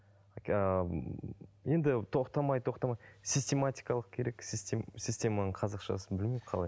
ыыы енді тоқтамай тоқтамай систематикалық керек системаның қазақшасын білмеймін қалай